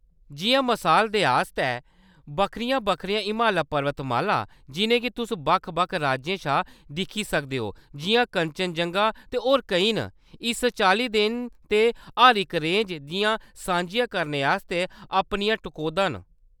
जिʼयां मसाल दे आस्तै बक्खरियां बक्खरियां हिमालया पर्वतमालां जिʼनेंगी तुस बक्ख बक्ख राज्यें शा दिक्खी सकदे ओ जिʼयां कंचनजंगा ते होर केईं न, इक चाल्ली दे न ते हर इक रेंज दियां सांझियां करने आस्तै अपनियां टकोह्‌दां न ।